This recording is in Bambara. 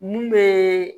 Mun be